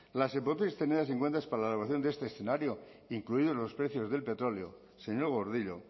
las hipótesis tenidas en cuenta para la elaboración de este escenario incluidos los precios del petróleo señor gordillo